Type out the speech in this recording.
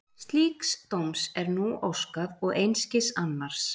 Slíks dóms er nú óskað og einskis annars.